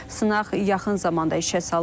Sınaq yaxın zamanda işə salınacaq.